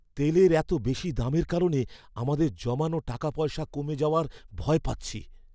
তেলের এত বেশি দামের কারণে আমাদের জমানো টাকাপয়সা কমে যাওয়ার ভয় পাচ্ছি।